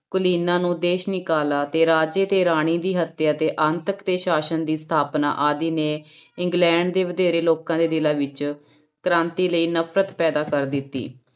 ਕੁਲੀਨਾਂ ਨੂੰ ਦੇਸ ਨਿਕਾਲਾ ਤੇ ਰਾਜੇ ਤੇ ਰਾਣੀ ਦੀ ਹੱਤਿਆ ਤੇ ਅੰਤਕ ਤੇ ਸਾਸਨ ਦੀ ਸਥਾਪਨਾ ਆਦਿ ਨੇ ਇੰਗਲੈਂਡ ਦੇ ਵਧੇਰੇ ਲੋਕਾਂ ਦੇ ਦਿਲਾਂ ਵਿੱਚ ਕ੍ਰਾਂਤੀ ਲਈ ਨਫ਼ਰਤ ਪੈਦਾ ਕਰ ਦਿੱਤੀ।